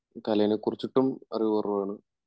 കലയെകുറിച്ചിട്ടും അറിവ് കുറവാണ്